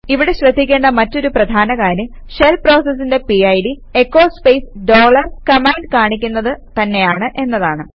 ഇവിടെ ശ്രദ്ധിക്കേണ്ട മറ്റൊരു പ്രധാന കാര്യം ഷെൽ പ്രോസസിന്റെ PID echo space dollar command കാണിക്കുന്നത് തന്നെയാണ് എന്നതാണ്